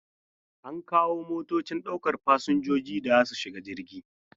An kawo motocin daukan fasinjoji da za su shiga jirgi.